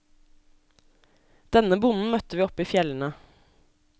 Denne bonden møtte vi oppi fjellene.